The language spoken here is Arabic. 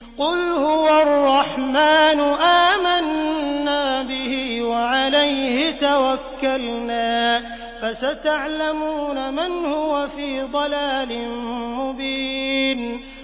قُلْ هُوَ الرَّحْمَٰنُ آمَنَّا بِهِ وَعَلَيْهِ تَوَكَّلْنَا ۖ فَسَتَعْلَمُونَ مَنْ هُوَ فِي ضَلَالٍ مُّبِينٍ